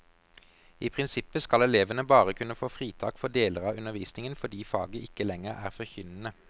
I prinsippet skal elevene bare kunne få fritak for deler av undervisningen fordi faget ikke lenger er forkynnende.